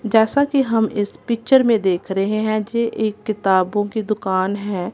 जैसा की हम इस पिक्चर में देख रहें हैं जे एक किताबों की दुकान हैं।